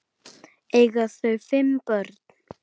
Eiga þau fimm börn.